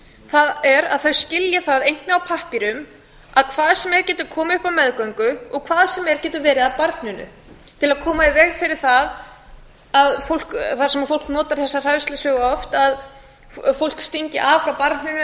það er þau skilja það einnig á pappírum að hvað sem er getur komið upp á meðgöngu og hvað sem er getur verið að barninu til að koma í veg fyrir það að þar sem fólk notar þessa hræðslusögu oft að fólk stingi af frá barninu